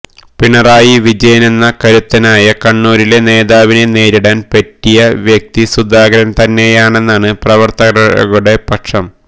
പിണറായി വിജയനെന്ന കരുത്തനായ കണ്ണൂരിലെ നേതാവിനെ നേരിടാൻ പറ്റിയ വ്യക്തി സുധാകരൻ തന്നെയാണെന്നാണ് പ്രവർത്തകരുടെ പക്ഷം